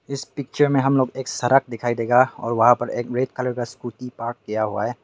इस पिक्चर में हम लोग एक सड़क दिखाई देगा और वहां पर एक रेड कलर का स्कूटी पार्क किया हुआ है।